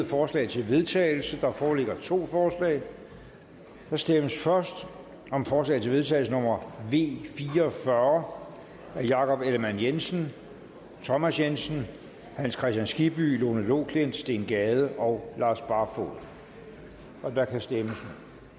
forslag til vedtagelse der foreligger to forslag der stemmes først om forslag til vedtagelse nummer v fire og fyrre af jakob ellemann jensen thomas jensen hans kristian skibby lone loklindt steen gade og lars barfoed og der kan stemmes